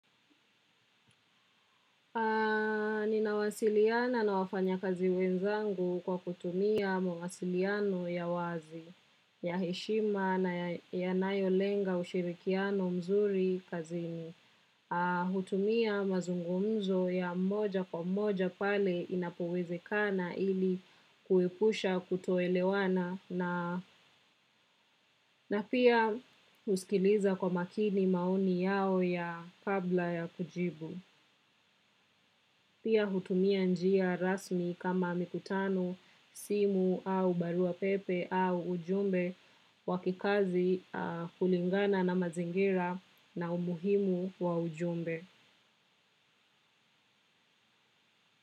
Ninawasiliana na wafanyakazi wenzangu kwa kutumia mawasiliano ya wazi, ya heshima na yanayolenga ushirikiano mzuri kazini. Hutumia mazungumzo ya mmoja kwa mmoja pale inapowezekana ili kuepusha kutoelewana na pia husikiliza kwa makini maoni yao kabla ya kujibu. Pia hutumia njia rasmi kama mikutano, simu au barua pepe au ujumbe wakikazi kulingana na mazingira na umuhimu wa ujumbe.